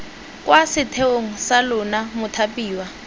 kwa setheong sa lona mothapiwa